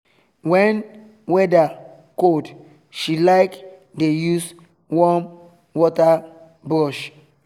when weather cold she like dey use warm water brush